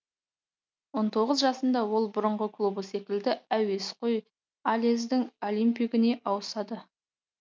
он тоғыз жасында ол бұрынғы клубы секілді әуесқой алездің олимпигіне ауысады